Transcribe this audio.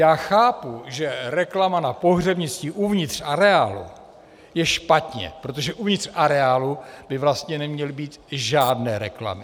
Já chápu, že reklama na pohřebnictví uvnitř areálu je špatně, protože uvnitř areálu by vlastně neměly být žádné reklamy.